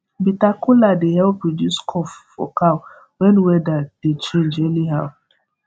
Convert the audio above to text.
bitter kola dey help reduce cough for cow when weather dey change anyhow